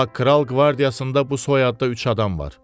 Amma kral qvardiyasında bu soyadda üç adam var.